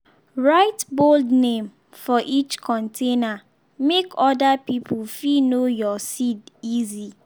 write bold name for each container make other people fit know your seed easy.